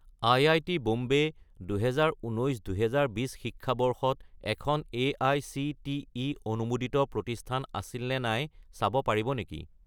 IIT. Bombay 2019 - 2020 শিক্ষাবৰ্ষত এখন AICTE অনুমোদিত প্ৰতিষ্ঠান আছিল নে নাই চাব পাৰিব নেকি?